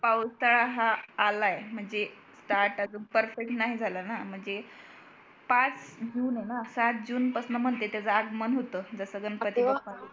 पावसाळा हा आलाय म्हणजे start अजून perfect नाही झाला ना म्हणजे पाच जून आहे ना सात जून पासून म्हणते त्याचं आगमन होतं जसा गणपती बाप्पा